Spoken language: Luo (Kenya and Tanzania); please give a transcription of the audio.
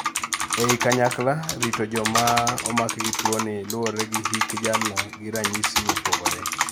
ei kanyakla, rito jomaa omaki gi tuoni luore gi hik jalno gi ranyisis mopogore